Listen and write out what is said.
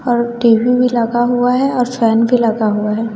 और टी_भी भी लगा हुआ है और फैन भी लगा हुआ है।